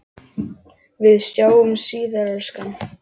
Við sjáumst síðar, elskan.